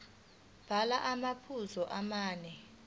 bhala amaphuzu amane